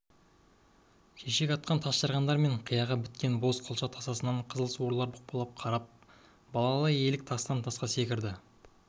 шешек атқан тасжарғандар мен қияға біткен боз қылша тасасынан қызыл суырлар бұқпалап қарап балалы елік тастан тасқа секіріп